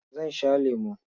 Zan sha lemo.